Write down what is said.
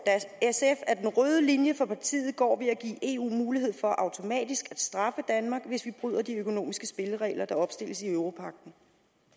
sf at den røde linje for partiet går ved at give eu mulighed for automatisk at straffe danmark hvis vi bryder de økonomiske spilleregler der opstilles i europagten